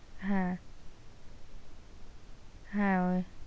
হ্যাঁ হ্যাঁ ওই,